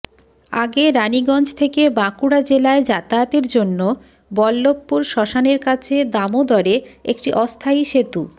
আগে রানিগঞ্জ থেকে বাঁকুড়া জেলায় যাতায়াতের জন্য বল্লভপুর শ্মশানের কাছে দামোদরে একটি অস্থায়ী সেতু